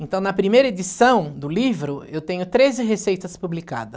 Então, na primeira edição do livro, eu tenho treze receitas publicadas.